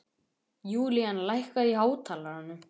Julian, lækkaðu í hátalaranum.